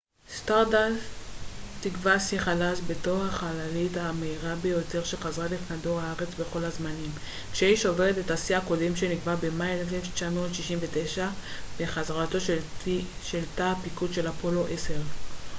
סטארדאסט תקבע שיא חדש בתור החללית המהירה ביותר שחזרה לכדור הארץ בכל הזמנים כשהיא שוברת את השיא הקודם שנקבע במאי 1969 בחזרתו של תא הפיקוד של אפולו 10